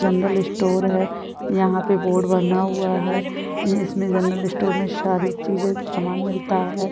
General store है यहाँ पे बोर्ड बना हुआ है इसमें जनरल स्टोर में सारी चीज़े सामान मिलता है।